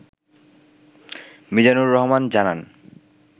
মিজানুর রহমান জানান